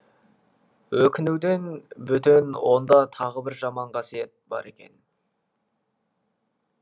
өкінуден бөтен онда тағы бір жаман қасиет бар екен